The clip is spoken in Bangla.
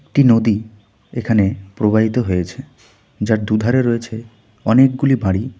একটি নদী এখানে প্রবাহিত হয়েছে যার দুধারে রয়েছে অনেকগুলি বাড়ি।